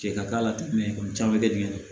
Cɛ ka k'a la ten mɛ caman bɛ kɛ diɲɛ kɔnɔ